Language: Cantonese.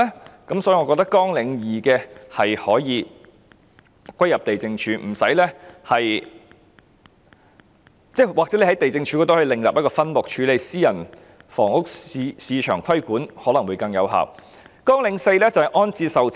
有鑒於此，我認為綱領2可以歸入地政總署，當然，政府亦可以在地政總署下另設一個分目，處理私人房屋市場的規管事宜，這樣可能更有效。